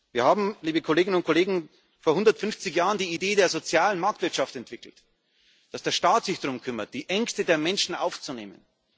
Wir haben, liebe Kolleginnen und Kollegen, vor 150 Jahren die Idee der sozialen Marktwirtschaft entwickelt, dass der Staat sich darum kümmert, die Ängste der Menschen aufzunehmen.